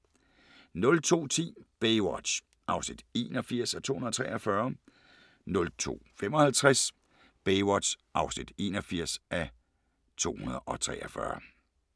02:10: Baywatch (81:243) 02:55: Baywatch (81:243)